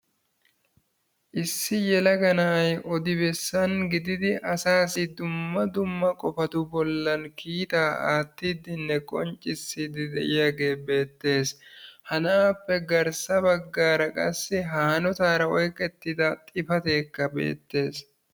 Issi na'ay odi bessan gididi asaassi dumma dumma qofatu bollan kiitaa attidinne qonccissidi de'iyagee beettees. Ha na'appe garssa qofaa qassi ha hanotaara oyqettida xifatekka beettees.